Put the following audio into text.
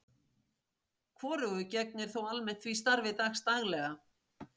Hvorugur gegnir þó almennt því starfi dags daglega.